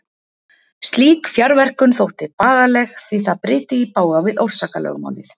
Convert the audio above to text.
Slík fjarverkun þótti bagaleg því það bryti í bága við orsakalögmálið.